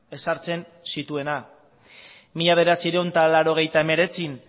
ezartzen zituena mila bederatziehun eta laurogeita hemeretzian